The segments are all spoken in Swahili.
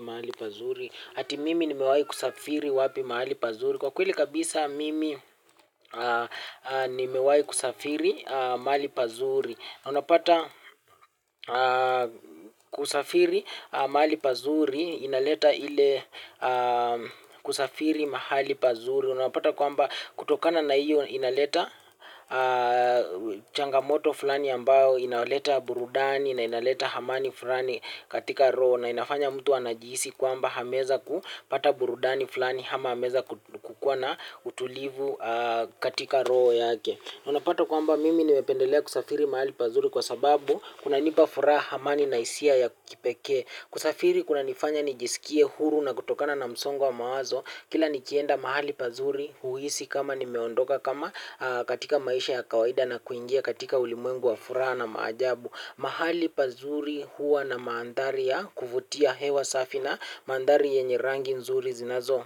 Mahali pazuri, ati mimi nimewahi kusafiri wapi mahali pazuri nimewahi kusafiri mahali pazuri, unapata kusafiri mahali pazuri, inaleta ile kusafiri mahali pazuri unapata kwamba kutokana na iyo inaleta changamoto fulani ambao inaleta burudani na inaleta amani fulani katika roho na inafanya mtu anajihisi kwamba ameweza kupata burudani fulani ama ameweza kukuwa na utulivu katika roho yake. Unapata kwamba mimi nimependelea kusafiri mahali pazuri kwa sababu kunanipa furaha, amani na hisia ya kipekee. Kusafiri kunanifanya nijisikie huru na kutokana na msongo wa mawazo. Kila nikienda mahali pazuri huhisi kama nimeondoka kama katika maisha ya kawaida na kuingia katika ulimwengu wa furaha na maajabu. Mahali pazuri huwa na mandhari kuvutia, hewa safi na mandhari yenye rangi nzuri zinazo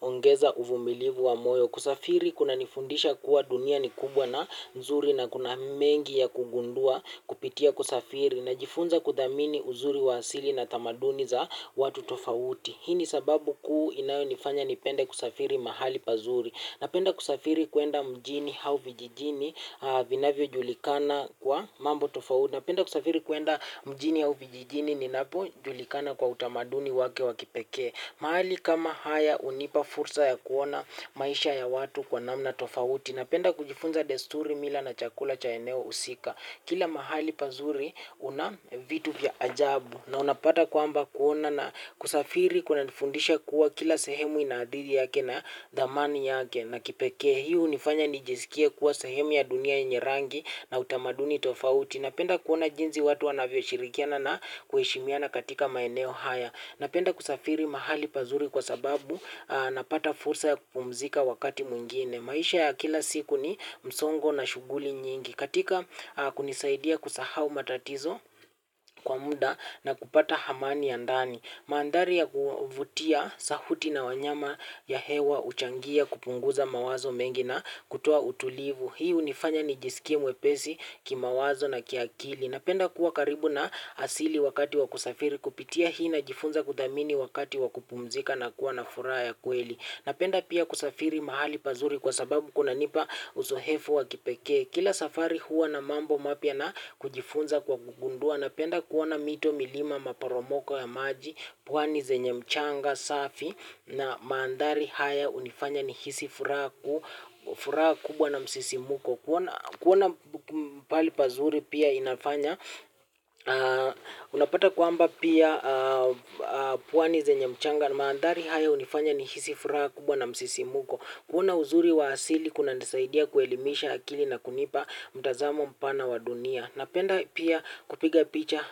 ongeza uvumilivu wa moyo. Kusafiri kunanifundisha kuwa dunia ni kubwa na nzuri na kuna mengi ya kugundua kupitia kusafiri. Najifunza kuthamini uzuri wa asili na tamaduni za watu tofauti. Hii ni sababu kuu inayonifanya nipende kusafiri mahali pazuri napenda kusafiri kwenda mjini au vijijini vinavyojulikana kwa mambo tofauti. Napenda kusafiri kwenda mjini hau vijijini inapojulikana kwa utamaduni wake wa kipekee. Mahali kama haya hunipa fursa ya kuona maisha ya watu kwa namna tofauti. Napenda kujifunza desturi, mila na chakula cha eneo husika. Kila mahali pazuri kuna vitu vya ajabu na unapata kwamba kuona na kusafiri kunanifundisha kuwa kila sehemu ina adui yake na dhamani yake ya kipekee, hii hunifanya nijisikie kuwa sehemu ya dunia yenye rangi na utamaduni tofauti. Napenda kuona jinsi watu wanavyoshirikiana na kuheshimiana katika maeneo haya napenda kusafiri mahali pazuri kwa sababu napata fursa ya kupumzika wakati mwingine. Maisha ya kila siku ni msongo na shughuli nyingi katika kunisaidia kusahau matatizo kwa muda na kupata amani ya ndani. Mandhari ya kuvutia, sauti na wanyama na hewa huchangia kupunguza mawazo mengi na kutoa utulivu. Hii hunifanya nijisikie mwepesi kimawazo na kiakili. Napenda kuwa karibu na asili wakati wa kusafiri kupitia hii najifunza kuthamini wakati wa kupumzika na kuwa na furaha ya kweli. Napenda pia kusafiri mahali pazuri kwa sababu kunanipa uzoefu wa kipekee. Kila safari huwa na mambo mapya na kujifunza kwa kugundua. Napenda kuona mito, milima, maparomoko ya maji, pwani zenye mchanga safi na mandhari haya hunifanya nihisi furaha kubwa na msisimuko. Kuona pahali pazuri pia inafanya unapata kwamba pia pwani zenye mchanga, mandhari haya hunifanya nihisi furaha kubwa na msisimuko. Kuona uzuri wa asili kunanisaidia kuelimisha akili na kunipa mtazamo mpana wa dunia. Napenda pia kupiga picha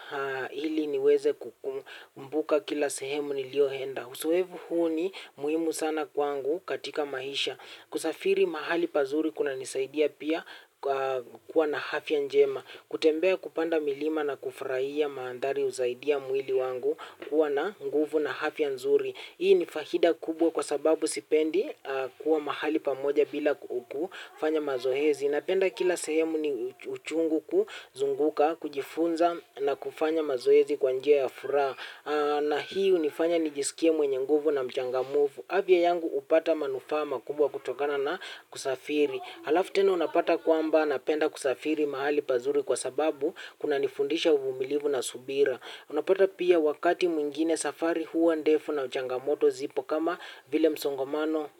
ili niweze kukumbuka kila sehemu niliyoenda. Uzoefu huu ni muhimu sana kwangu katika maisha kusafiri mahali pazuri kunanisaidia pia kuwa na afya njema. Kutembea, kupanda milima na kufurahia mandhari husaidia mwili wangu kuwa na nguvu na afya nzuri. Hii ni faida kubwa kwa sababu sipendi kuwa mahali pamoja bila kufanya mazoezi. Napenda kila sehemu ni uchungu kuzunguka, kujifunza na kufanya mazoezi kwa njia ya furaha na hii hunifanya nijisikie mwenye nguvu na mchangamfu. Afya yangu hupata manufaa makubwa kutokana na kusafiri. Halafu tena unapata kwamba napenda kusafiri mahali pazuri kwa sababu kunanifundisha uvumilivu na subira. Unapata pia wakati mwingine safari huwa ndefu na changamoto zipo kama vile msongamano,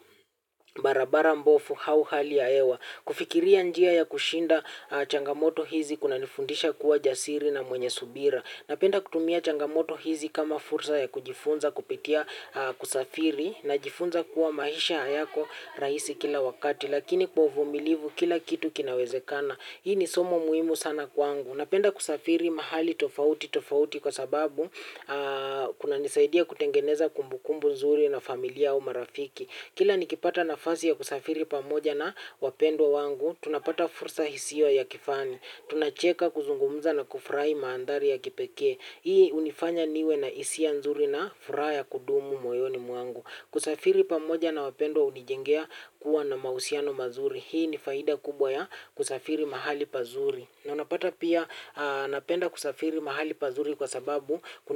barabara mbovu au hali ya hewa. Kufikiria njia ya kushinda changamoto hizi kuna nifundisha kuwa jasiri na mwenye subira. Napenda kutumia changamoto hizi kama fursa ya kujifunza kupitia kusafiri najifunza kuwa maisha hayako rahisi kila wakati lakini kwa uvumilivu kila kitu kinawezekana. Hii ni somo muhimu sana kwangu. Napenda kusafiri mahali tofauti tofauti kwa sababu kunanisaidia kutengeneza kumbukumbu nzuri na familia au marafiki kila nikipata nafasi ya kusafiri pamoja na wapendwa wangu, tunapata fursa isiyo ya kifani. Tunacheka, kuzungumza na kufurahi mandhari ya kipekee. Hii hunifanya niwe na hisia nzuri na furaha ya kudumu moyoni mwangu. Kusafiri pamoja na wapendwa hunijengea kuwa na mahusiano mazuri hii ni faida kubwa ya kusafiri mahali pazuri na unapata pia napenda kusafiri mahali pazuri kwa sababu kuna niwe.